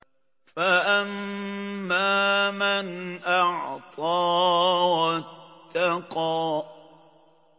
فَأَمَّا مَنْ أَعْطَىٰ وَاتَّقَىٰ